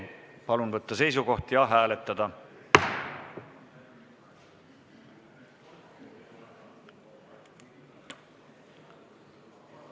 Palun võtta seisukoht ja hääletada!